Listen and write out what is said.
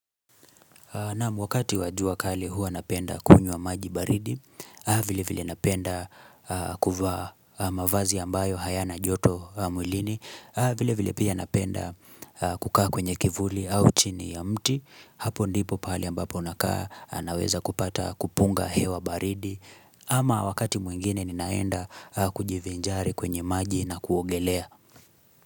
Naam wakati wajua kali hua napenda kunywa maji baridi, vile vile napenda kuvaa mavazi ambayo hayana joto mwilini, vile vile pia napenda kukaa kwenye kivuli au chini ya mti, hapo ndipo pali ambapo unakaa naweza kupata kupunga hewa baridi, ama wakati mwingine ninaenda kujivinjari kwenye maji na kuogelea.